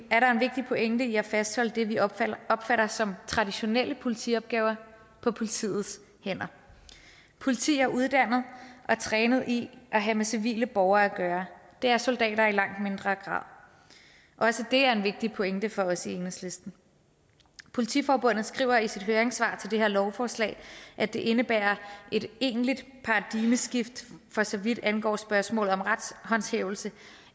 vigtig pointe i at fastholde det vi opfatter opfatter som traditionelle politiopgaver på politiets hænder politiet er uddannet og trænet i at have med civile borgere at gøre det er soldater i langt mindre grad også det er en vigtig pointe for os i enhedslisten politiforbundet skriver i sit høringssvar til det her lovforslag at det indebærer et egentligt paradigmeskift for så vidt angår spørgsmålet om retshåndhævelse